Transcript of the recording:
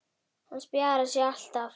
Það spjarar sig alltaf.